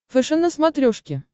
фэшен на смотрешке